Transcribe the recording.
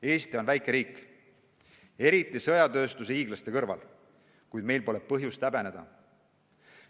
Eesti on väike riik, eriti sõjatööstuse hiiglaste kõrval, kuid meil pole põhjust häbeneda.